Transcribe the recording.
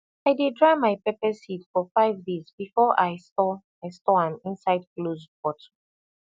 i dey dry my pepper seed for five days before i store i store am inside close bottle